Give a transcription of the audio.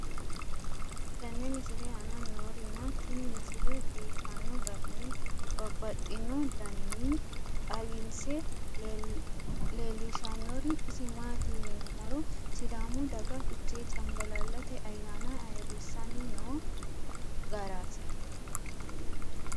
tenne misile aana noorina tini misile biiffanno garinni babaxxinno daniinni xawisse leelishanori isi maati yinummoro sidaamu daga fichche canbaallallatte ayaanna ayiirisanni noo garaatti